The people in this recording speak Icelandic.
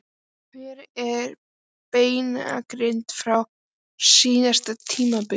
En hver er breytingin frá síðasta tímabili?